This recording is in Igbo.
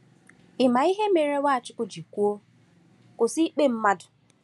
Ị ma ihe mere Nwachukwu ji kwuo Kwụsị ikpe mmadụ?